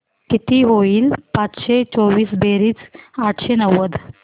किती होईल पाचशे चोवीस बेरीज आठशे नव्वद